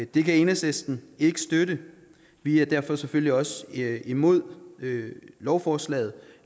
det kan enhedslisten ikke støtte vi er derfor selvfølgelig også imod lovforslaget